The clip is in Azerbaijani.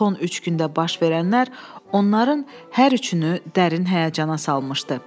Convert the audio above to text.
Son üç gündə baş verənlər onların hər üçünü dərin həyəcana salmışdı.